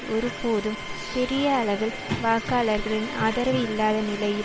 ஒரு போதும் பெரியளவில் வாக்காளர்களின் ஆதரவு இல்லாத நிலையில்